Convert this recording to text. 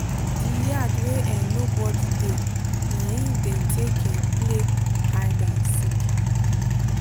di yard wey um no body dey na him dem take um play hide and seek